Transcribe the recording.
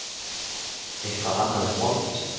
Eitthvað annað en mold.